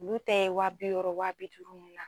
Olu tɛ ye wa bi wɔɔrɔ wa bi duuru